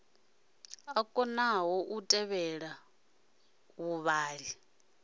a konḓa u tevhela vhuṱala